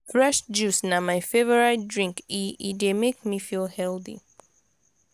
fresh juice na my favourite drink e e dey make me feel healthy.